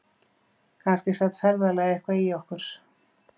Kannski sat ferðalagið eitthvað í okkur